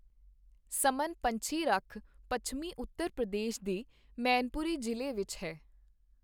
ਸਮਨ ਪੰਛੀ ਰੱਖ ਪੱਛਮੀ ਉੱਤਰ ਪ੍ਰਦੇਸ਼ ਦੇ ਮੈਨਪੁਰੀ ਜ਼ਿਲ੍ਹੇ ਵਿੱਚ ਹੈ।